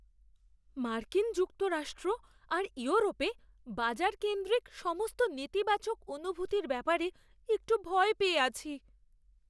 মার্কিন যুক্তরাষ্ট্র আর ইউরোপে বাজারকেন্দ্রিক সমস্ত নেতিবাচক অনুভূতির ব্যাপারে একটু ভয় পেয়ে আছি।